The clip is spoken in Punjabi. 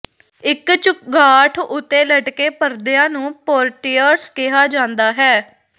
ਇੱਕ ਚੁਗਾਠ ਉੱਤੇ ਲਟਕੇ ਪਰਦਿਆਂ ਨੂੰ ਪੋਰਟਿਏਰਸ ਕਿਹਾ ਜਾਂਦਾ ਹੈ